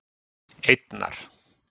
einnar